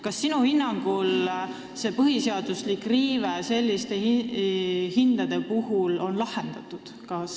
Kas sinu hinnangul on põhiseaduslik riive selliste hindade puhul lahendatud?